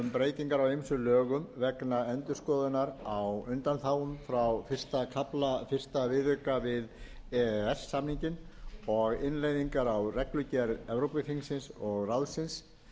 um breytingar á ýmsum lögum vegna endurskoðunar á undanþágum frá fyrsta kafla fyrsta viðauka við e e s samninginn og innleiðingar á reglugerð evrópuþingsins og ráðsins